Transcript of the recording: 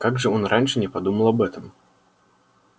как же он раньше не подумал об этом